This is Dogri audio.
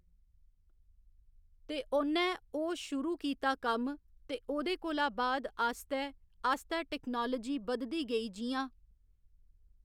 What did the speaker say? ते ओनै ओह् शुरू कीता कम्म ते ओह्दे कोला बाद आस्तै आस्तै टेक्नोलाजी बधदी गेई जि'यां